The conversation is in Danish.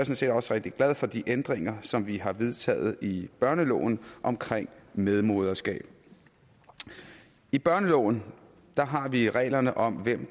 set også rigtig glad for de ændringer som vi har vedtaget i børneloven om medmoderskab i børneloven har vi reglerne om hvem